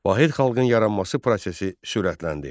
Vahid xalqın yaranması prosesi sürətləndi.